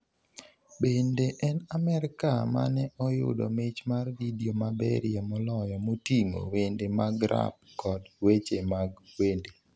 Bende en Amerka mane oyudo mich mar vidio maberie moloyo moting'o wende mag rap kod weche mag wende.